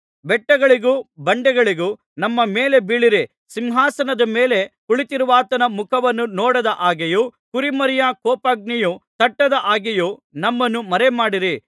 ಬೆಟ್ಟಗಳಿಗೂ ಬಂಡೆಗಳಿಗೂ ನಮ್ಮ ಮೇಲೆ ಬೀಳಿರಿ ಸಿಂಹಾಸನದ ಮೇಲೆ ಕುಳಿತಿರುವಾತನ ಮುಖವನ್ನು ನೋಡದ ಹಾಗೆಯೂ ಕುರಿಮರಿಯ ಕೋಪಾಗ್ನಿಯು ತಟ್ಟದ ಹಾಗೆಯೂ ನಮ್ಮನ್ನು ಮರೆಮಾಡಿರಿ